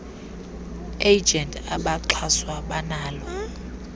agents abaxhaswa banalo